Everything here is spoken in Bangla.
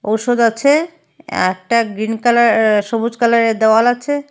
ঔষধ আছে একটা গ্রিন কালার সবুজ কালারের দেওয়াল আছে।